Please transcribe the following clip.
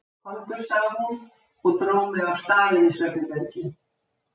Komdu, sagði hún og dró mig af stað inn í svefnherbergi.